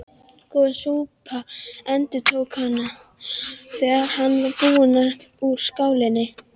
Góð súpa endurtók hann, þegar hann var búinn úr skálinni.